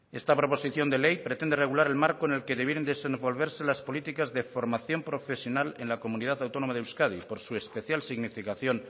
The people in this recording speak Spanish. esta proposición de ley pretende regular el marco en el que debieran desenvolverse las políticas de formación profesional en la comunidad autónoma de euskadi por su especial significación